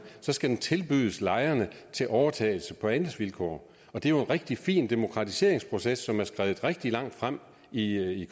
skal den tilbydes lejerne til overtagelse på andelsvilkår og det er jo en rigtig fin demokratiseringsproces som er skredet rigtig langt frem i